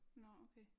Nåh okay